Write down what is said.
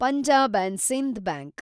Punjab and Sind bank